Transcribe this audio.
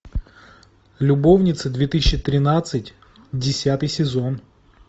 любовница две тысячи тринадцать десятый сезон